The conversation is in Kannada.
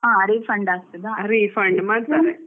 ಹಾ refund ಆಗ್ತದಾ.